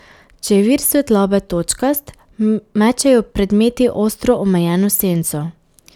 Če je vir svetlobe točkast, mečejo predmeti ostro omejeno senco.